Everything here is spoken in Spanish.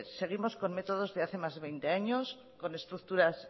seguimos con métodos de hace más de veinte años con estructuras